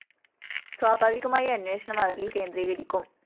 സ്വാഭാവികമായി അന്വേഷണം അവരില്‍ കേന്ദ്രീകരിക്കും